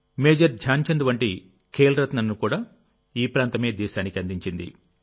major Dhyan Chand వంటి ఖేల్ రత్నను కూడా ఈ ప్రాంతమే దేశానికి అందించింది